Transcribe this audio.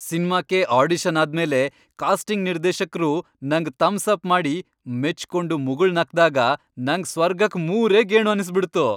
ಸಿನ್ಮಾಕ್ಕೆ audition ಆದ್ಮೇಲೆ casting ನಿರ್ದೇಶಕ್ರು ನಂಗ್ ಥಮ್ಸಪ್ ಮಾಡಿ, ಮೆಚ್ಕೊಂಡು ಮುಗುಳ್ನಕ್ದಾಗ ನಂಗ್ ಸ್ವರ್ಗಕ್ ಮೂರೇ ಗೇಣು ಅನ್ಸ್ಬಿಡ್ತು.